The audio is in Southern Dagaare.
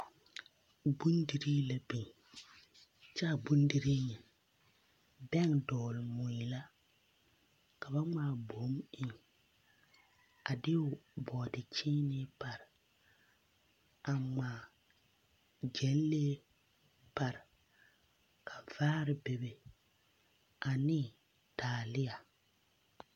Bondirii la be kyɛ a bondirii nyɛ, bɛŋ dɔgele mui la ka ba ŋmaa boŋ eŋ a de bɔɔdekyẽẽnee pare , a ŋmaa gyɛlɛɛ pare ka vaare bebe ane taalea.